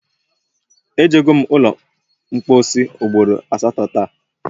Ejego m ụlọ mpọsị ugboro asatọ taa